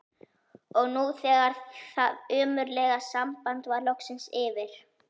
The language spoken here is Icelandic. Og nú þegar það ömurlega samband var loksins yfir